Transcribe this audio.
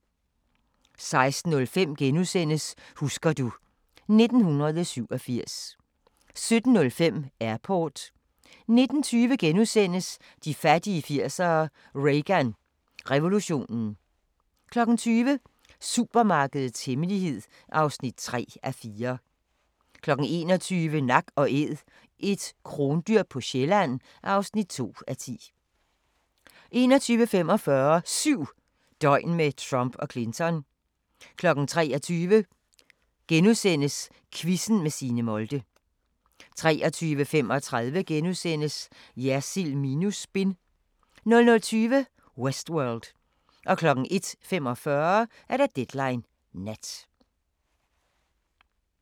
16:05: Husker du ... 1987 * 17:05: Airport 19:20: De fattige 80'ere: Reagan revolutionen * 20:00: Supermarkedets hemmelighed (3:4) 21:00: Nak & Æd – et krondyr på Sjælland (2:10) 21:45: 7 døgn med Trump og Clinton 23:00: Quizzen med Signe Molde * 23:35: Jersild minus spin * 00:20: Westworld 01:45: Deadline Nat